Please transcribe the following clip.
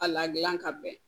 A la gilan ka bɛn